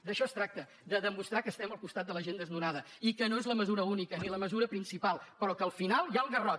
d’això es tracta de demostrar que estem al costat de la gent desnonada i que no és la mesura única ni la mesura principal però que al final hi ha el garrot